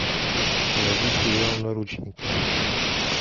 найди сериал наручники